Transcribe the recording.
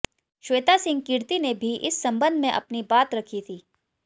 श्वेता सिंह कीर्ति ने भी इस संबंध में अपनी बात रखी थी